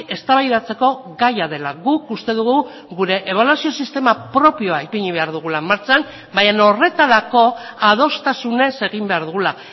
eztabaidatzeko gaia dela guk uste dugu gure ebaluazio sistema propioa ipini behar dugula martxan baina horretarako adostasunez egin behar dugula